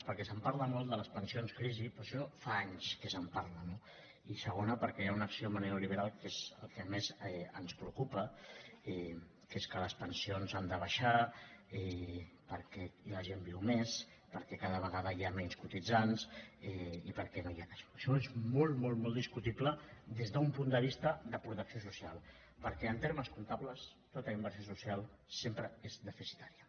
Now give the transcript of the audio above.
perquè es parla molt de les pensions crisi però d’això fa anys que se’n parla no i segona perquè hi ha un axioma neoliberal que és el que més ens preocupa que és que les pensions han de baixar i la gent viu més perquè cada vegada hi ha menys cotitzants i perquè no hi ha cash flowaixò és molt molt molt discutible des d’un punt de vista de protecció social perquè en termes comptables tota inversió social sempre és deficitària